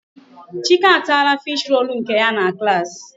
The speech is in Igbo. Chike ataala fish-roll nke ya na klaasị.